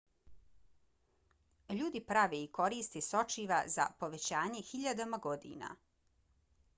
ljudi prave i koriste sočiva za povećanje hiljadama godina